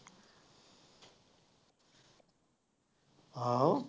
ਆਹੋ।